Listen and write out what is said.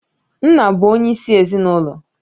Nna bụ onyeisi ezinụlọ